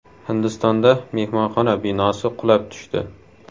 Hindistonda mehmonxona binosi qulab tushdi.